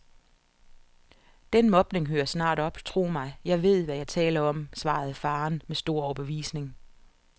Den mobning hører snart op, tro mig, jeg ved, hvad jeg taler om, svarede faderen med stor overbevisning.